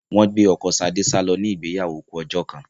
Wọ́n gbé ọkọ Sadé sálọ ní ìgbéyàwó kú ọjọ́ kan